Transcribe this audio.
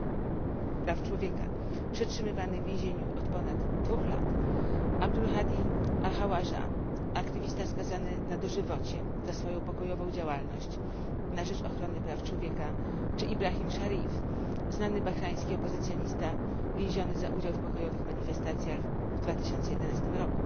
Praw Człowieka, przetrzymywany w więzieniu od ponad dwóch lat, Abdulhadi Al Khawaja aktywista skazany na dożywocie za swoją pokojową działalność na rzecz ochrony praw człowieka czy Ibrahim Sharif znany bahrajński opozycjonista, więziony za udział w pokojowych manifestacjach w 2011 r.